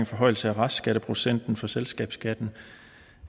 forhøjelse af restskatteprocenten for selskabsskatten